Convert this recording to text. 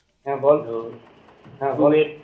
হ্যা বল